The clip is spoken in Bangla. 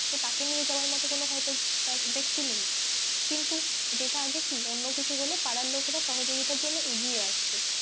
তো তাকে নিয়ে যাওয়ার মতো হয়তো কোনো ব্যক্তি নেই কিন্তু যেটা আগে কি অন্য কিছু হলে পাড়ার লোকরা সহযোগিতার জন্য এগিয়ে আসতো,